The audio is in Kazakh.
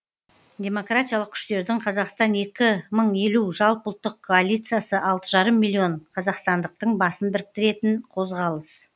демократиялық күштердің қазақстан екі мың елу жалпыұлттық коалициясы алты жарым миллион қазақстандықтың басын біріктіретін қозғалыс